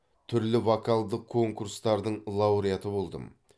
түрлі вокалдық конкурстардың лауреаты болдым